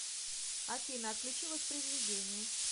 афина отключи воспроизведение